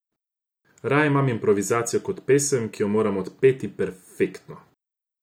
Raje imam improvizacijo kot pesem, ki jo moram odpeti perfektno.